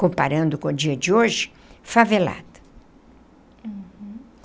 Comparando com o dia de hoje, favelado. Uhum.